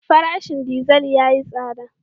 Farashin dizal yayi tsada.